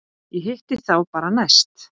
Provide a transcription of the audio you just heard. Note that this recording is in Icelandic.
Ég hitti þá bara næst.